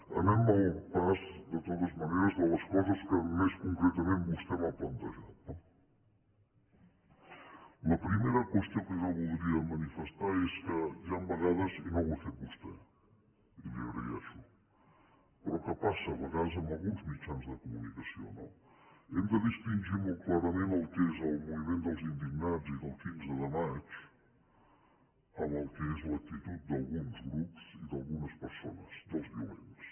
anem al pas de totes maneres de les coses que més concretament vostè m’ha plantejat no la primera qüestió que jo voldria manifestar és que hi han vegades i no ho ha fet vostè i li ho agraeixo però que passa a vegades amb alguns mitjans de comunicació no que hem de distingir molt clarament el que és el moviment dels indignats i del quinze de maig del que és l’actitud d’alguns grups i d’algunes persones dels violents